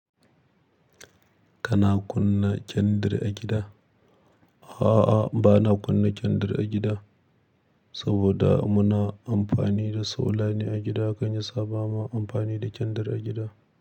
Kana kunna kyandere a gida? A'a, ba na kunna kyandir a gida, saboda muna amfani da solar a gida, kan yasa ba ma amfani da kyandir a gida.